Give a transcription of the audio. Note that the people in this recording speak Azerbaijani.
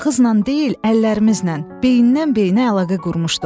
Ağzınla deyil, əllərimizlə, beyindən beyinə əlaqə qurmuşduq.